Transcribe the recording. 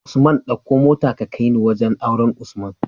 Usman ɗauko mota ka kaini wajan auren usman